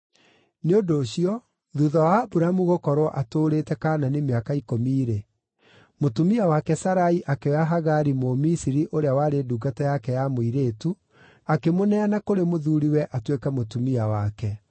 Nĩ ũndũ ũcio, thuutha wa Aburamu gũkorwo atũũrĩte Kaanani mĩaka ikũmi-rĩ, mũtumia wake Sarai akĩoya Hagari Mũmisiri ũrĩa warĩ ndungata yake ya mũirĩtu, akĩmũneana kũrĩ mũthuuriwe atuĩke mũtumia wake.